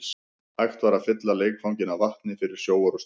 Hægt var að fylla leikvanginn af vatni fyrir sjóorrustur.